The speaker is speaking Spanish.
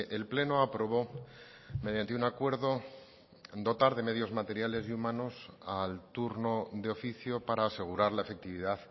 el pleno aprobó mediante un acuerdo dotar de medios materiales y humanos al turno de oficio para asegurar la efectividad